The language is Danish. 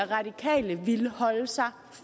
radikale ville holde sig